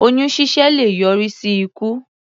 Oyún ṣíṣẹ́ le yọrí sí ikú.